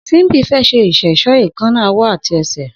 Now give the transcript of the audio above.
Simbi fè ṣé iṣẹṣọ éékànná ọwọ àtí ẹsẹ